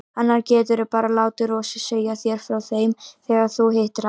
Annars geturðu bara látið Rósu segja þér frá þeim þegar þú hittir hana.